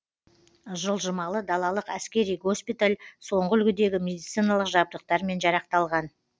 жылжымалы далалық әскери госпиталь соңғы үлгідегі медициналық жабдықтармен жарақталған